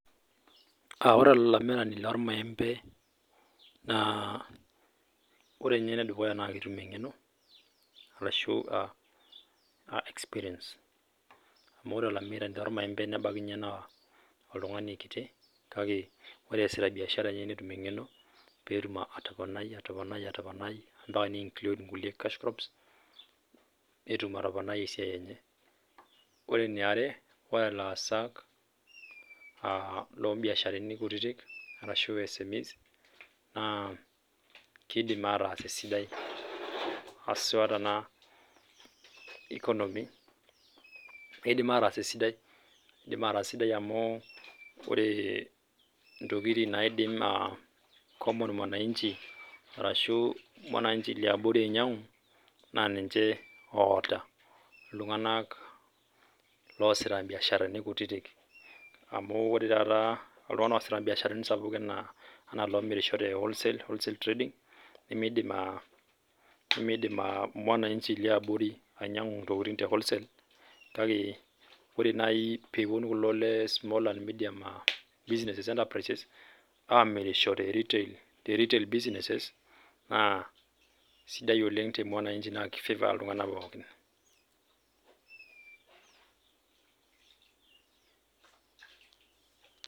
Aa ore olamirani lormaembe naa ore ninye enedukuya naa ketum engeno arashu experience amu ore olamirani lormaembe nebaiki ninye naa kiti kake ore easita biashara enye netum engeno , petum atoponai , ampaka niinclude nkulie cash crops , petum atoponai esiai enye . Ore eniare ore ilaasak lombiasharani kutitik arashu SMES naa kidim ataas esidai , haswa tena economy indim ataas esidai . Indim ataas esidai amu ore ntokitin naidim common mwananchi arashu [css] mwananchi liabori ainyiangu naa ninye oota iltunganak loasita mbiasharani kutitik amu ore taata iltunganak oosita mbiasharani sapukin naa iloomirisho tewholesale wholesale trading, nemidim mwananchi]cs] liabori ainyiangu ntokitin tewholesale. Kake ore nai peponu kulo lesmall [c]scale business enterprises amirisho teretail businesses naa sidai oleng temwnanchi naa kifavour iltunganak pookin .